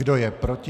Kdo je proti?